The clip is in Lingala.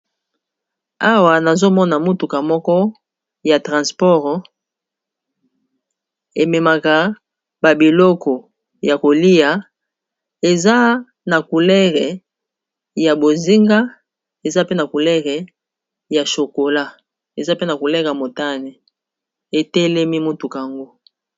Awa nazomona motuka moko ya transport ememaka babiloko ya kolia eza na couleur ya bozinga eza pe na couleur ya chokola eza pe na couleur ya motane etelemi motuka yango.